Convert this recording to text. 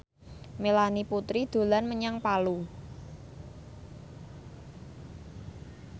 Melanie Putri dolan menyang Palu